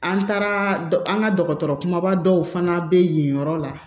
An taara an ka dɔgɔtɔrɔ kumaba dɔw fana bɛ yen yɔrɔ la